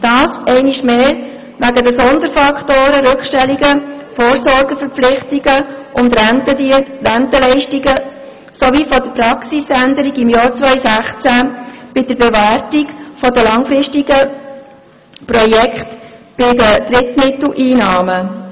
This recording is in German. Dies einmal mehr aufgrund der Sonderfaktoren Rückstellungen, Vorsorgeverpflichtungen und Rentenleistungen, sowie der Praxisänderung im Jahr 2016 bei der Bewertung der langfristigen Projekte bei den Drittmitteleinnahmen.